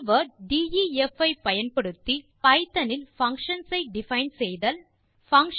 keyword def ஐ பயன்படுத்தி Python இல் பங்ஷன்ஸ் ஐ டிஃபைன் செய்தல்